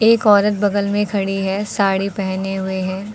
एक औरत बगल में खड़ी है साड़ी पहने हुए है।